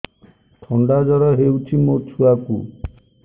ଥଣ୍ଡା ଜର ହେଇଚି ମୋ ଛୁଆକୁ